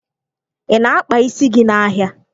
Ị na-akpa isi gị n'ahịa?